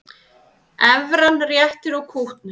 Evran réttir út kútnum